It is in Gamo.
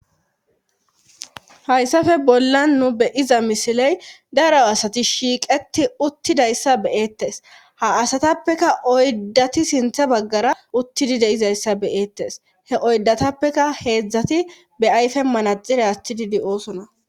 hayssafe bollan nu beyiza misiley daro asati shiiqeti uttidayssa beyeettes ha asatappeka oyddati sintha baggara uttidi deizayssa beyeettes he oydatappeka heedzdzati be ayfe manaxire attididi oosona